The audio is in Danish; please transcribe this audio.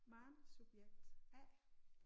Maren subjekt A